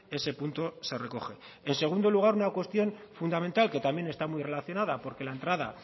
ese punto se recoge en segundo lugar una cuestión fundamental que también está muy relacionada porque la entrada